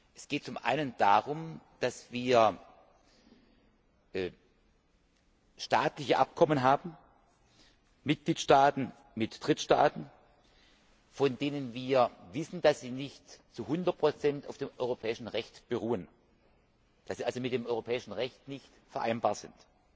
Es geht zum einen darum, dass wir staatliche Abkommen haben zwischen Mitgliedstaaten und Drittstaaten, von denen wir wissen, dass sie nicht zu 100 auf dem europäischen Recht beruhen, dass sie also mit dem europäischen Recht nicht vereinbar sind.